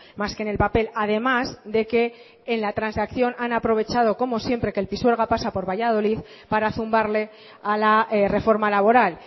más que en el papel además de que en la transacción han aprovechado como siempre que el pisuerga pasa por valladolid para zumbarle a la reforma laboral